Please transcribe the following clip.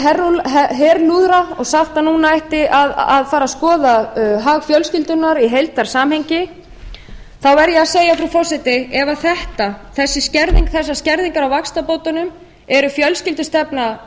blásið í herlúðra og sagt að núna ætti að fara að skoða hag fjölskyldunnar í heildarsamhengi þá verð ég að segja frú forseti ef þetta þessar skerðingar á vaxtabótunum er fjölskyldustefna